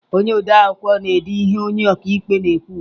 Onye odeakwụkwọ na-ede ihe onye ọkaikpe na-ekwu ugbu a.